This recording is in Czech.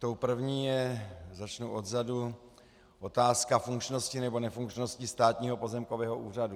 Tou první je - začnu odzadu - otázka funkčnosti nebo nefunkčnosti Státního pozemkového úřadu.